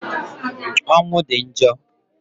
Ọnwụ di njo